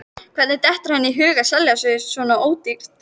Hvernig dettur henni í hug að selja sig svona ódýrt?